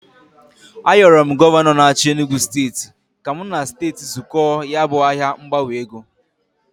Ayoro Gọvanọ n'achi Enugu steti ka m na steti zụkọọ ya bụ ahịa ngbanwe ego.